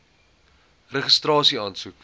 registrasieaansoek